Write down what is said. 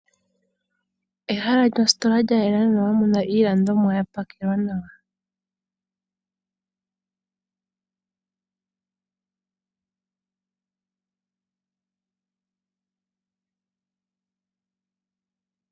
Ehala lyostola lyayela nawa mono muna iilandomwa yapakelwa nawa.